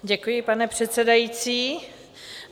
Děkuji, pane předsedající.